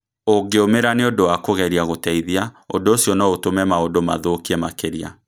ũngĩumĩra nĩ ũndũ wa kũgeria gũteithia, ũndũ ũcio no ũtũme maũndũ mathũkie makĩria.